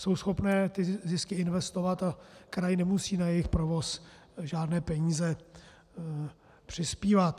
Jsou schopné ty zisky investovat a kraj nemusí na jejich provoz žádné peníze přispívat.